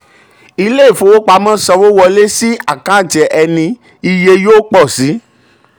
ilé ìfowopamọ́ sanwó wọlé sí àkántì ẹni iye yóò pọ̀ síi.